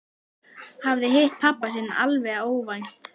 Hafði hitt pabba sinn alveg óvænt.